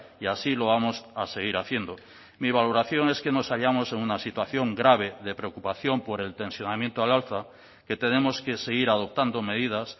y así lo vamos a seguir haciendo mi valoración es que nos hallamos en una situación grave de preocupación por el tensionamiento al alza que tenemos que seguir adoptando medidas